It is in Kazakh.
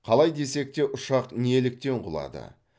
қалай десек те ұшақ неліктен құлады